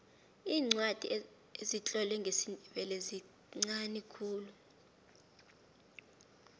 iincwadi ezitlolwe ngesindebele zinqani khulu